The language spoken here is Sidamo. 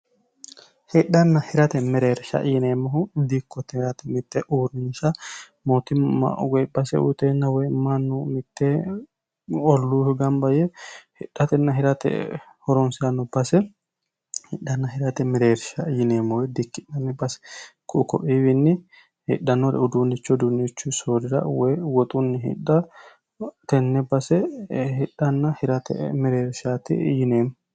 hidhanna hirate mereersha yineemmohu diikko teerate mitte uurinsha mootimma ugbase uyiteenna woy mannu mitte olluuhu gambayye hidhatenn hirate horonseanno base hidhanna hirate mereersha yineemmowe diikki'nanmi base quukophiiwiinni hidhannore uduunnicho uduunnichu soodira woy woxunni hidhtenne basehidhanna hirate mereershaati yineemmo